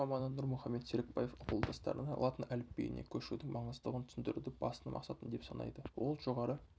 тіл маманы нұрмұхамед серікбаев ауылдастарына латын әліпбиіне көшудің маңыздылығын түсіндіруді басты мақсатым деп санайды ол жоғары